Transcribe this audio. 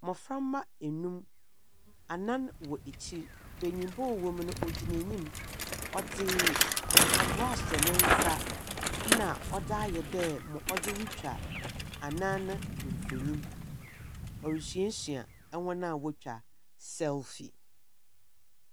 Mboframba anum, anan wɔ akyir. Benyinba a ɔwɔ mu no ogyina enyim. Ɔdze mpaboa ahyɛ ne nsa, na odze ayɛ dɛ odze retwa anan no mfonyi. Oresuasua hɔn a wotwa selfie.